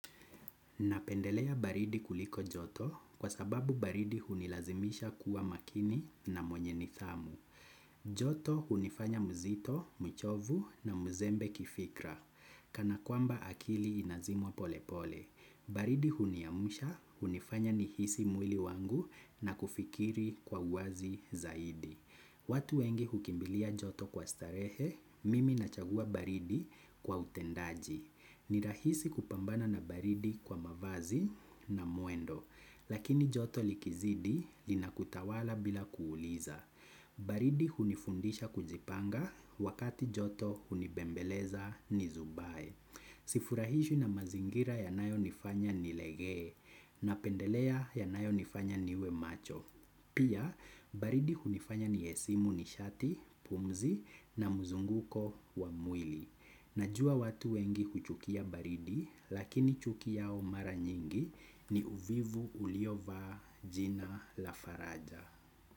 Napendelea baridi kuliko joto kwa sababu baridi hunilazimisha kuwa makini na mwenye nidhamu. Joto hunifanya mzito, mchovu na mzembe kifikra. Kana kwamba akili inazimwa polepole. Baridi huniamsha hunifanya nihisi mwili wangu na kufikiri kwa uwazi zaidi. Watu wengi hukimbilia joto kwa starehe, mimi nachagua baridi kwa utendaji. Ni rahisi kupambana na baridi kwa mavazi na mwendo. Lakini joto likizidi, linakutawala bila kuuliza. Baridi hunifundisha kujipanga, wakati joto hunibembeleza nizubae. Sifurahishwi na mazingira yanayo nifanya nilegee, napendelea yanayonifanya niwe macho. Pia, baridi hunifanya niesimu nishati, pumzi na mzunguko wa mwili. Najua watu wengi huchukia baridi, lakini chuki yao mara nyingi, ni uvivu uliovaa jina la faraja.